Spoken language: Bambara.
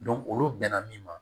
olu bɛnna min ma